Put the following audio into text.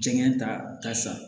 Jɛngɛ ta sa